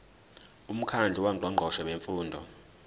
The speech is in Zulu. umkhandlu wongqongqoshe bemfundo